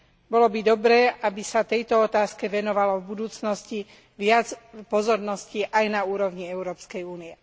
Bolo by dobré, aby sa tejto otázke venovalo v budúcnosti viac pozornosti aj na úrovni Európskej únie.